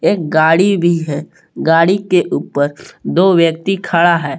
एक गाड़ी भी है गाड़ी के ऊपर दो व्यक्ति खड़ा है।